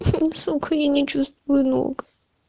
сука я не чувствую ног